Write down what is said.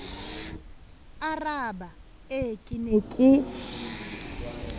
aaraba ee ke ne ke